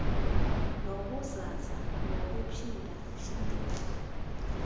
nobuzaza ngokuphinda phindeka